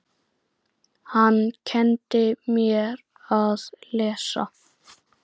Hann kenndi mér að lesa.